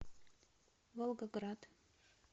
волгоград